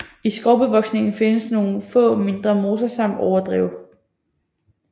I skovbevoksningen findes nogle få mindre moser samt overdrev